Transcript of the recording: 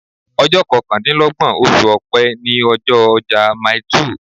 Ọjọ́ kọkàndínlọ́gbọ̀n oṣù Ọ̀pẹ ni ọjọ́ ọjà Mile two.